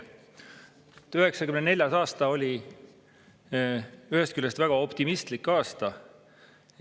1994. aasta oli ühest küljest väga optimistlik aasta.